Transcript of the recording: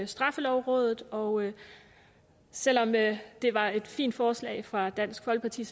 straffelovrådet og selv om det var et fint forslag fra dansk folkeparti